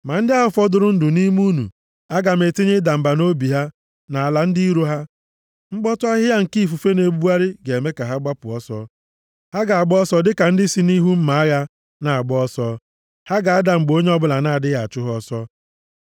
“ ‘Ma ndị ahụ fọdụrụ ndụ nʼime unu, aga m etinye ịda mba nʼobi ha nʼala ndị iro ha. Mkpọtụ ahịhịa nke ifufe na-ebugharị ga-eme ka ha gbapụ ọsọ. Ha ga-agba ọsọ dịka ndị si nʼihu mma agha na-agba ọsọ. Ha ga-ada mgbe onye ọbụla na-adịghị achụ ha ọsọ.